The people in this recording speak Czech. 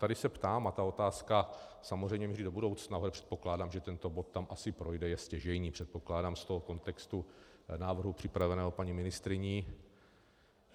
Tady se ptám - a ta otázka samozřejmě míří do budoucna, ale předpokládám, že tento bod tam asi projde, je stěžejní, předpokládám, z toho kontextu návrhu připraveného paní ministryní.